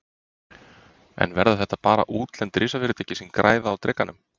En verða þetta bara útlend risafyrirtæki sem græða á Drekanum?